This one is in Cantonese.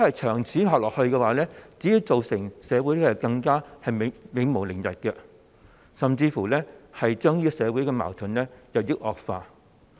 長此下去，只會造成社會更加永無寧日，甚至會令社會矛盾日益惡化。